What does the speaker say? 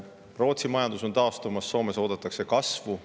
Rootsi majandus on taastumas ja Soomes oodatakse kasvu.